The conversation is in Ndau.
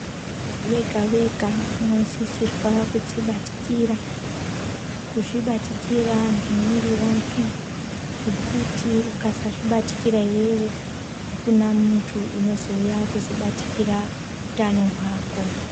Munthu wega-wega unosisirwa kudzibatikira, kuzvibatikira ngemwiri wake. Ngekuti ukasazvibatikira iwewe, akuna munthu unozouya kuzobatikira utano hwako.